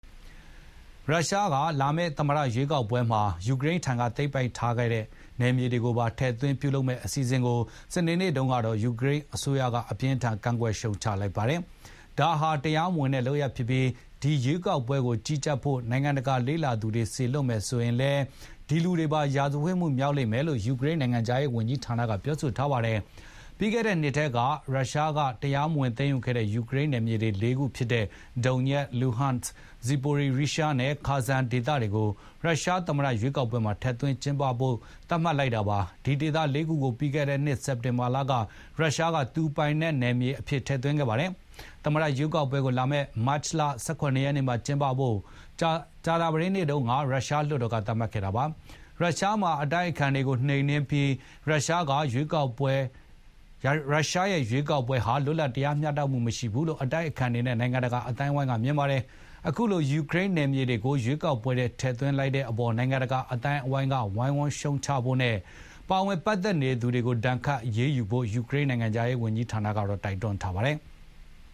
ရုရှားက လာမယ့် သမ္မတရွေးကောက်ပွဲမှာ ယူကရိန်းထံက သိမ်းပိုက်ထားတဲ့ နယ်မြေတွေကိုပါ ထည့်သွင်းပြုလုပ်မယ့်အစီ စဉ်ကို ယူကရိန်းအစိုးရက စနေနေ့မှာ အပြင်းအထန် ကန့်ကွက်ရှုံချလိုက်ပါတယ်။ ဒါဟာ တရားမဝင်တဲ့ လုပ်ရပ်ဖြစ်ပြီး၊ ဒီရွေးကောက်ပွဲကို ကြီးကြပ်ဖို့ နိုင်ငံတကာ လေ့လာသူတွေ စေလွှတ်မယ်ဆိုရင်လည်း ရာဇဝတ်မှုမြောက်လိမ့်မယ်လို့ ယူကရိန်း နိုင်ငံခြားရေးဝန်ကြီးဌာနက ပြောပါတယ်။ ပြီးခဲ့တဲ့နှစ်ထဲ ရုရှားက တရားမဝင် သိမ်းယူခဲ့တဲ့ ယူကရိန်းနယ်မြေ ၄ ခုဖြစ်တဲ့ ဒုန်ညက်၊ လူဟန့်၊ ဇီပိုရီရီးရှားနဲ့ ခါဆန်ဒေသတွေကို ရုရှားသမ္မတ ရွေးကောက်ပွဲမှာ ထည့်သွင်း ကျင်းပဖို့ သတ်မှတ်လိုက်တာပါ။ ဒီဒေသ ၄ ခုကို ပြီးခဲ့တဲ့နှစ် စက်တင်ဘာလက ရုရှားက သူ့ပိုင်နက်အဖြစ် ထည့်သွင်းခဲ့ပါတယ်။ သမ္မတရွေးကောက်ပွဲကို လာမယ့် မတ်လ ၁၇ ရက်နေ့မှာ ကျင်းပဖို့ ကြာသပတေးနေ့တုန်းက ရုရှားလွှတ်တော်က သတ်မှတ်ခဲ့တာပါ။ ရုရှားမှာ အတိုက်အခံတွေကို နှိမ်နင်းထားပြီး ရုရှားက ရွေးကောက်ပွဲဟာ လွတ်လပ် တရားမျှတမှု မရှိဘူးလို့ အတိုက်အခံတွေနဲ့ နိုင်ငံတကာ အသိုင်းအဝိုင်းက မြင်ပါတယ်။ အခုလို ယူကရိန်းနယ်မြေတွေကို ရွေးကောက်ပွဲထဲ ထည့်သွင်းတဲ့အပေါ် နိုင်ငံတကာ အသိုင်းအဝိုင်းက ဝိုင်းဝန်းရှုံချကြဖို့နဲ့ ပါဝင်ပတ်သက်သူတွေကို ဒဏ်ခတ် အရေးယူဖို့ ယူကရိန်း နိုင်ငံခြားရေးဝန်ကြီးဌာနက တိုက်တွန်းထားပါတယ်။